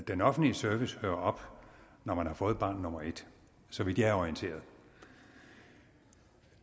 den offentlige service hører op når man har fået barn nummer et så vidt jeg er orienteret